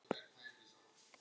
Unnur Ólöf.